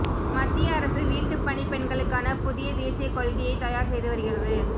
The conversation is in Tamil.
மத்திய அரசு வீட்டு பணிப் பெண்களுக்கான புதிய தேசிய கொள்கையை தயார் செய்து வருகிறது